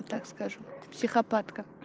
и так скажу психопатка